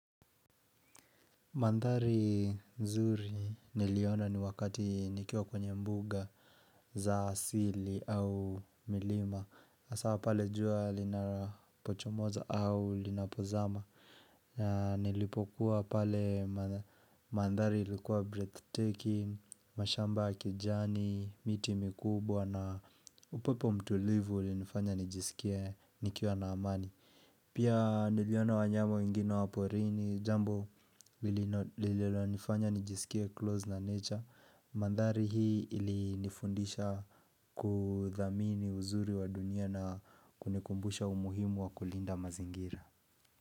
Manthari nzuri niliona ni wakati nikiwa kwenye mbuga za asili au milima Asa pale jua linapochomoza au linapozama Nilipokuwa pale manthari ilikuwa breathtaking, mashamba ya kijani, miti mikubwa na upepo mtulivu ulinifanya nijisikie nikiwa na amani Pia niliona wanyama wengine wa porini jambo lililonifanya nijisikieclose na nature Manthari hii ilinifundisha kudhamini uzuri wa dunia na kunikumbusha umuhimu wa kulinda mazingira.